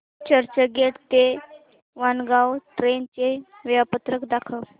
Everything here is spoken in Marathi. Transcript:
चर्चगेट ते वाणगांव ट्रेन चे वेळापत्रक दाखव